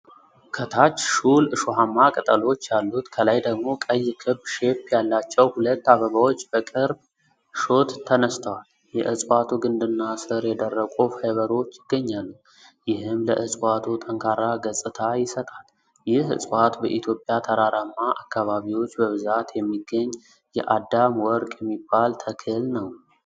ከታች ሹል እሾሃማ ቅጠሎች ያሉት፣ ከላይ ደግሞ ቀይ ክብ ሼፕ ያላቸው ሁለት አበባዎች በቅርብ ሾት ተነስተዋል። የዕፅዋቱ ግንድና ሥር የደረቁ ፋይበሮች ይገኛሉ፣ ይህም ለዕጽዋቱ ጠንካራ ገጽታ ይሰጣል። ይህ ዕጽዋት በኢትዮጵያ ተራራማ አካባቢዎች በብዛት የሚገኝ "የአዳም ወርቅ" የሚባል ተክል ነው?